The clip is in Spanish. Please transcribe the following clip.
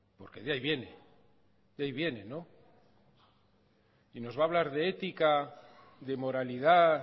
porque de ahí viene y nos va a hablar de ética de moralidad